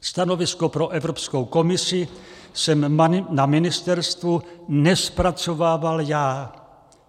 "Stanovisko pro Evropskou komisi jsem na ministerstvu nezpracovával já.